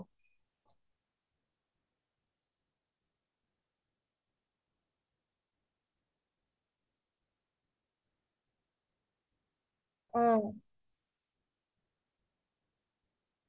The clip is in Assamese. আৰু বেচিদিন বাহিৰা খাদ্য খুৱাৰ পিছত মানে ন আহিয়ে জাই আমি ঘৰৰ পুৰা বা ভাততো খাও বা আমি শাকৰ আন্জ্যা এখনেৰে ভাততো খাও